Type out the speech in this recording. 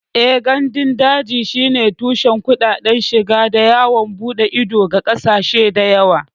Eh, gandun daji shine tushen kuɗaɗen shiga da yawon bude ido ga ƙasashe da yawa